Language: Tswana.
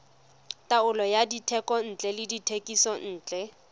taolo ya dithekontle le dithekisontle